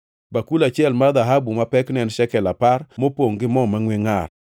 bakul achiel mar dhahabu ma pekne en shekel apar, mopongʼ gi mo mangʼwe ngʼar;